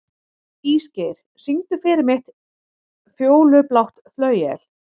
Ísgeir, syngdu fyrir mig „Fjólublátt flauel“.